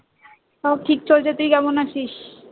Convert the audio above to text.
আমার ঠিক চলেছে তুই কেমন আছিস?